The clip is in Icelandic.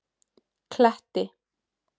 Kletti